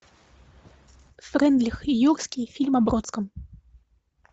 фрейндлих и юрский фильм о бродском